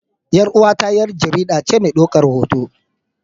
Yar uwata yar jaridace medaukan hoto.